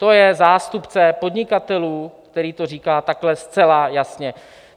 To je zástupce podnikatelů, který to říká takhle zcela jasně.